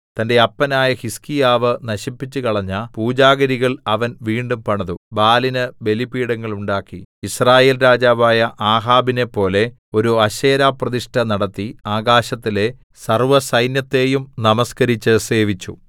തന്റെ അപ്പനായ ഹിസ്കീയാവ് നശിപ്പിച്ചുകളഞ്ഞ പൂജാഗിരികൾ അവൻ വീണ്ടും പണിതു ബാലിന് ബലിപീഠങ്ങൾ ഉണ്ടാക്കി യിസ്രായേൽ രാജാവായ ആഹാബിനെപ്പോലെ ഒരു അശേരാപ്രതിഷ്ഠ നടത്തി ആകാശത്തിലെ സർവ്വസൈന്യത്തെയും നമസ്കരിച്ച് സേവിച്ചു